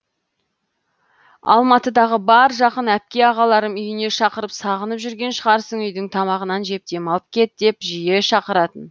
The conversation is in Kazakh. алматыдағы бар жақын апке ағаларым үйіне шақырып сағынып жүрген шығарсың үйдің тамағынан жеп демалып кет деп жиі шақыратын